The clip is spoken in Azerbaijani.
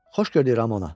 Xoş gördük Ramona.